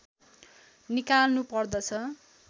निकाल्नु पर्दछ